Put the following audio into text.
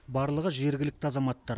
барлығы жергілікті азаматтар